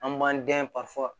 An b'an dɛ